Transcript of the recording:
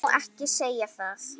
Ég má ekki segja það